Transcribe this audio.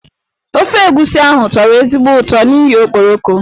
Ofe egusi ahụ tọrọ ezigbo ụtọ n'ihi okporoko.